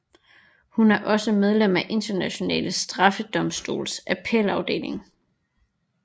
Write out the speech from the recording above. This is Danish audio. Hun er også medlem af Den Internationale Straffedomstols appelafdeling